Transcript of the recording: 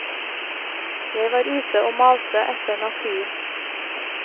Jeg var ute og malte etter naturen.